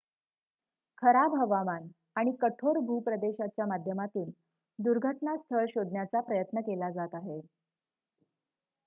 खराब हवामान आणि कठोर भूप्रदेशाच्या माध्यमातून दुर्घटना स्थळ शोधण्याचा प्रयत्न केला जात आहे